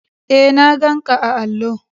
E, na ganƙa a allo.